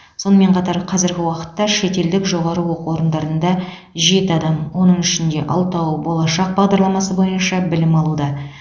сонымен қатар қазіргі уақытта шетелдік жоғары оқу орындарында жеті адам оның ішінде алтауы болашақ бағдарламасы бойынша білім алуда